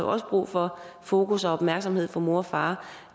også brug for fokus og opmærksomhed fra mor og far